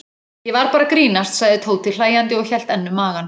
Ég var bara að grínast sagði Tóti hlæjandi og hélt enn um magann.